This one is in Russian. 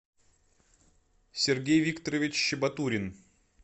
сергей викторович щебатурин